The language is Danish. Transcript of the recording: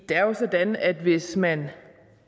det er jo sådan at hvis man